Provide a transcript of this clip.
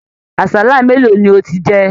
Àsálà mélòó ni ò tí jẹ?